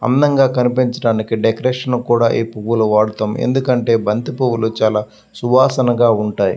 అందంగా కనిపించటానికి డెకరేషన్ కి కూడా ఈ పువ్వులను వాడతాము. ఎందుకంటే బంతి పూలు చాలా సువాసనగా ఉంటాయి.